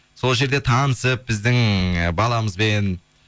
сол жерде танысып біздің ы баламызбен